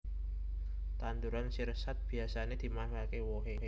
Tanduran sirsat biyasané dimanfaatké wohe